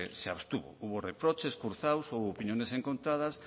se abstuvo hubo reproches cruzados hubo opiniones encontradas